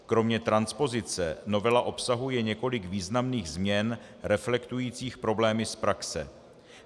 Kromě transpozice novela obsahuje několik významných změn reflektujících problémy z praxe.